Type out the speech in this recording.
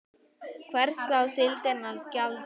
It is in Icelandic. Hvers á síldin að gjalda?